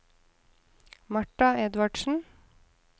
Marta Edvardsen